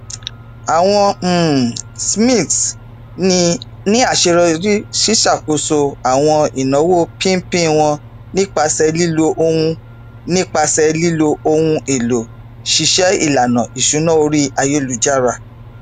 àwọn um smiths ní aṣeyọrí siṣàkóso àwọn ináwó pínpín wọn nípasẹ lílo ohun nípasẹ lílo ohun èlò ṣíṣe ìlànà ìṣúná orí ayélujára